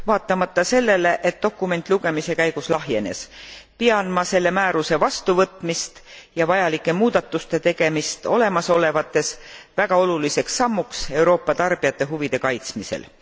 Vaatamata sellele, et dokument lugemise käigus lahjenes, pean ma selle määruse vastuvõtmist ja vajalike muudatuste tegemist olemasolevates väga oluliseks sammuks Euroopa tarbijate huvide kaitsmisel.